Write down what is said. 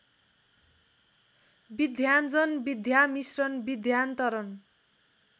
विधाञ्जन विधामिश्रण विधान्तरण